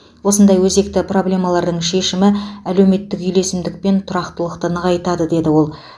осындай өзекті проблемалардың шешімі әлеуметтік үйлесімдік пен тұрақтылықты нығайтады деді ол